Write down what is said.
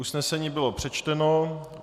Usnesení bylo přečteno.